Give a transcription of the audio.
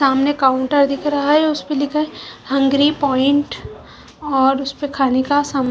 सामने काउंटर दिख रहा है उसपे लिखा है हंगरी पॉइंट और उसपे खाने का साम--